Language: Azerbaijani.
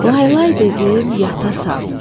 Laylay dedim, yatasan.